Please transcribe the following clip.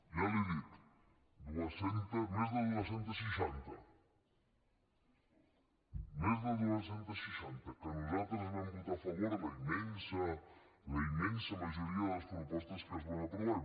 ja l’hi he dit més de dos cents i seixanta més de dos cents i seixanta que nosaltres vam votar a favor a la immensa majoria de les propostes que es van aprovar